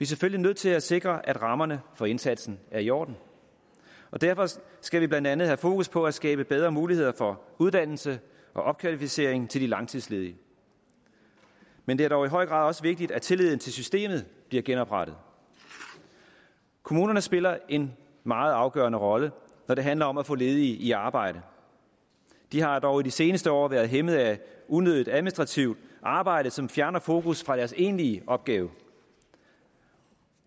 selvfølgelig nødt til at sikre at rammerne for indsatsen er i orden og derfor skal vi blandt andet have fokus på at skabe bedre muligheder for uddannelse og opkvalificering til de langtidsledige men det er dog i høj grad også vigtigt at tilliden til systemet bliver genoprettet kommunerne spiller en meget afgørende rolle når det handler om at få ledige i arbejde de har dog i de seneste år været hæmmet af unødigt administrativt arbejde som fjerner fokus fra deres egentlige opgave